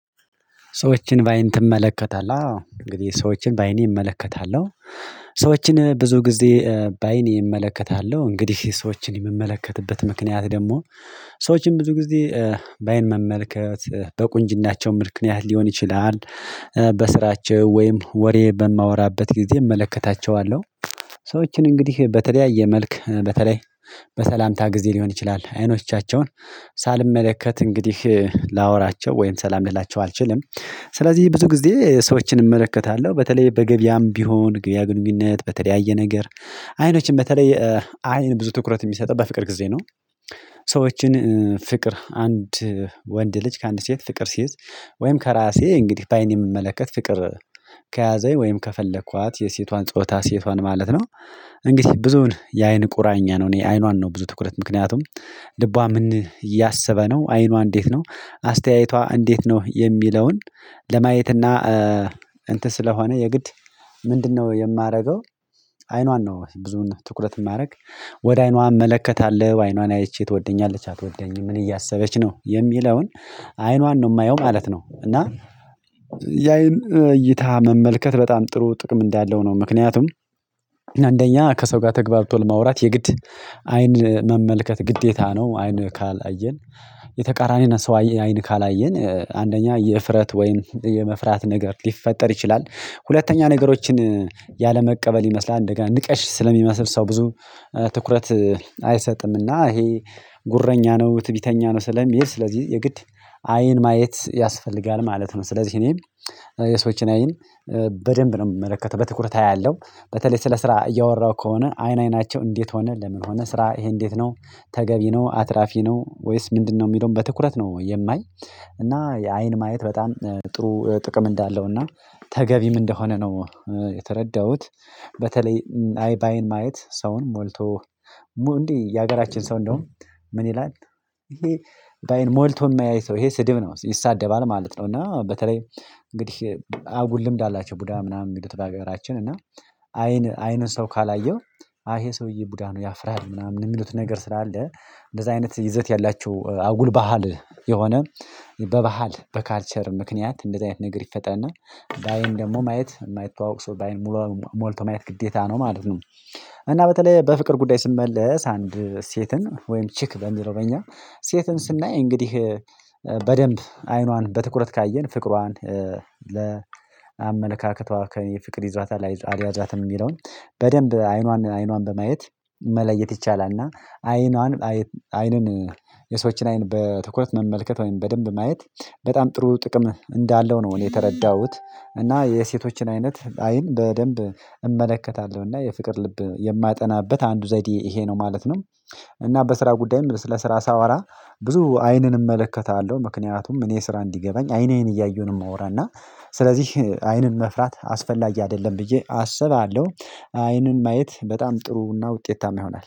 ሰዎችን በአይን ትመለከታለህ? አዎ እንግዲህ ሰዎችን በአይኔ እመለከታለሁ ሰዎችን ብዙ ጊዜ በአይኔ እመለከታለሁ እንግዲህ ሰዎችን የምመለከትበት ምክንያት ደግሞ ሰዎችን ብዙ ጊዜ ባይን መመልከት በቁንጅናቸው ምክንያት ሊሆን ይችላል በስራቸው ወይም ወሬ በማወራበት ጊዜ እመለከታቸዋለሁ ሰዎችን እንግዲህ በተለያየ መልክ በተለይ በሰላምታ ጊዜ ሊሆን ይችላል አይኖቻቸውን ሳልመለከት እንግዲህ ላወራቸው ወይም ሰላም ልላቸው አልችልም ስለዚህ ብዙ ጊዜ ሰዎችን እመለከታለሁ በተለይ በገበያም ቢሆን ገበያ ግንኙነት በተለያየ ነገር አይኖችን በተለይ አይን ብዙ ትኩረት የሚሰጠው በፍቅር ጊዜ ነው ሰዎችን ፍቅር አንድ ወንድ ልጅ ከአንድ ሴት ፍቅር ሲይዝ ወይም ከራሴ እንግዲህ በአይኔ የምመለከት ፍቅር ከያዘኝ ወይም ከፈለኳት የሴቷን ጾታ ሴቷን ማለት ነው እንግዲህ ብዙውን የአይን ቁራኛ ነው እኔ አይኗን ነው ብዙ ትኩረት ምክንያቱም ልቧ ምን እያሰበ ነው አይኗ እንዴት ነው አስተያየቷ እንዴት ነው የሚለውን ለማየት እና እንትን ስለሆነ የግድ ምንድነው የማደርገው አይኗን ነው ብዙውን ትኩረት የማደርግ ወደ አይኗ እመለከታለሁ አይኗን አይቼ ትወደኛለች አትወደኝም ምን እያሰበች ነው የሚለውን አይኗን ነው የማየው ማለት ነው እና የአይን እይታ መመልከት በጣም ጥሩ ጥቅም እንዳለው ነው ምክንያቱም አንደኛ ከሰው ጋር ተግባርቶ ለማውራት የግድ አይን መመልከት ግዴታ ነው አይን ካላየን የተቃራኒን ሰው አይን ካላየን አንደኛ የእፍረት ወይም የመፍራት ነገር ሊፈጠር ይችላል ሁለተኛ ነገሮችን ያለመቀበል ይመስላል እንደገና ንቀሽ ስለሚመስል ሰው ብዙ ትኩረት አይሰጥምና ይሄ ጉረኛ ነው ትዕቢተኛ ነው ስለሚል ስለዚህ የግድ አይን ማየት ያስፈልጋል ማለት ነው ስለዚህ እኔም የሰዎችን አይን በደንብ ነው የምመለከተው በትኩርት አያለሁ በተለይ ስለ ስራ እያወራሁ ከሆነ አይን አይናቸው እንዴት ሆነ ለምን ሆነ ስራ ይሄ እንዴት ነው ተገቢ ነው አትራፊ ነው ወይስ ምንድነው የሚለውን በትኩረት ነው የማይ እና የአይን ማየት በጣም ጥሩ ጥቅም እንዳለው እና ተገቢም እንደሆነ ነው የተረዳሁት በተለይ አይ በአይን ማየት ሰውን ሞልቶ እንዴ የሀገራችን ሰው እንደውም ምን ይላል ይሄ በአይን ሞልቶ የማያይ ሰው ይሄ ስድብ ነው ይሳደባል ማለት ነው እና በተለይ እንግዲህ አጉል ልምድ አላቸው ቡዳ ምናምን የሚሉት በሀገራችን እና አይን አይኑን ሰው ካላየው አይ ይሄ ሰውዬ ቡዳ ነው ያፍራል ምናምን የሚሉትን ነገር ስራ አለ እንደዛ አይነት ይዘት ያላችሁ አጉል ባህል የሆነ በባህል በካልቸር ምክንያት እንደዚህ አይነት ነገር ይፈጠናል በአይን ደግሞ ማየት የማይተዋወቅ ሰው በአይን ሙሉ ሞልቶ ማየት ግዴታ ነው ማለት ነው እና በተለይ በፍቅር ጉዳይ ስመለስ አንድ ሴትን ወይም ቺክ በሚለው በኛ ሴትን ስናይ እንግዲህ በደንብ አይኗን በትኩረት ካየን ፍቅሯን ለአመለካከቷ ከፍቅር ይዟታል አልያዛትም የሚለውን በደንብ አይኗን አይኗን በማየት መለየት ይቻላል እና አይኗን አይንን የሰዎችን አይን በትኩረት መመልከት ወይም በደንብ ማየት በጣም ጥሩ ጥቅም እንዳለው ነው ነው እኔ የተረዳሁት እና የሴቶችን አይነት አይን በደንብ እመለከታለሁ እና የፍቅር ልብ የማጠናበት አንዱ ዘዴ ይሄ ነው ማለት ነው እና በስራ ጉዳይም ለስራ ሳወራ ብዙ አይንን እመለከታለሁ ምክንያቱም እኔ ስራ እንዲገባኝ አይን አይን እያየሁን የማወራ እና ስለዚህ አይንን መፍራት አስፈላጊ አይደለም ብዬ አሰባለሁ አይንን ማየት በጣም ጥሩና ውጤታማ ይሆናል